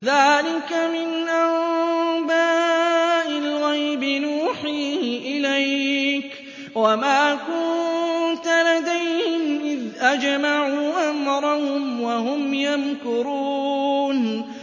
ذَٰلِكَ مِنْ أَنبَاءِ الْغَيْبِ نُوحِيهِ إِلَيْكَ ۖ وَمَا كُنتَ لَدَيْهِمْ إِذْ أَجْمَعُوا أَمْرَهُمْ وَهُمْ يَمْكُرُونَ